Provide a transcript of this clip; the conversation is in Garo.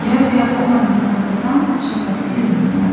ia biapo mande sakgittam chakate dongenga.